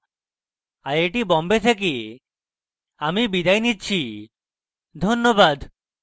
I I T Bombay থেকে আমি বিদায় নিচ্ছি ধন্যবাদ